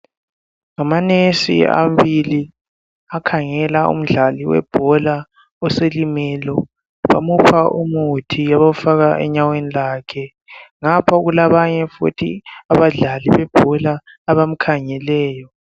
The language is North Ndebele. Ngamanesi amabili akhangela umdlali webhola oselimele .Bamupha umuthi abawufaka enyaweni lwakhe .Ngapha kulabanye futhi abadlali bebhola abamkhangeleyo.